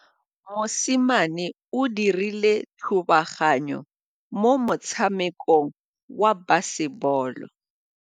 Mosimane o dirile thubaganyô mo motshamekong wa basebôlô.